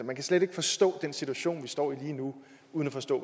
man kan slet ikke forstå den situation vi står i lige nu uden at forstå